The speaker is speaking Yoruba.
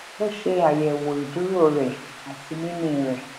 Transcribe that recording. ó ṣè àyèwò ìdúró rẹ àti mímí rẹ